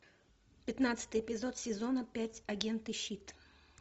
пятнадцатый эпизод сезона пять агенты щит